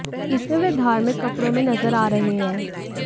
इसमें वे धार्मिक कपड़ों में नजर आ रहे हैं